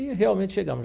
E realmente chegamos.